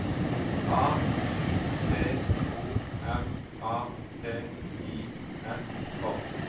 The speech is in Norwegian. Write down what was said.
A U T O M A T I S K